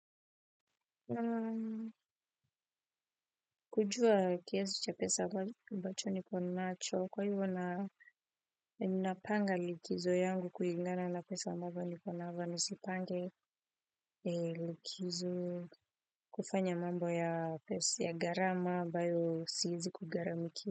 Kujua kiasi cha pesa ambacho niko nacho kwa hivyo ninapanga likizo yangu kulingana na pesa ambazo niko nizipange likizo kufanya mambo ya pesa ya gharama ambayo siwezi kugharamikia.